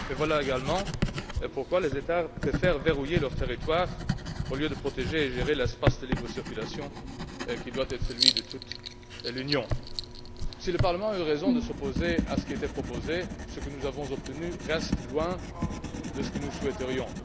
Voilà, également, pourquoi les États préfèrent verrouiller leur territoire au lieu de protéger et de gérer l'espace de libre circulation qui doit être celui de toute l'Union. Si le Parlement a eu raison de s'opposer à ce qui était proposé, ce que nous avons obtenu est loin de ce que nous souhaiterions.